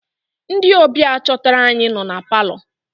Ndị ọbịa chọtara anyị nọ na palọ.